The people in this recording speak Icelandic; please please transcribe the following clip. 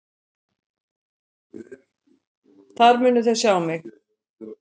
Þar munu þeir sjá mig.